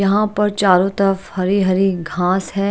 यहां पर चारों तरफ हरी हरी घास है।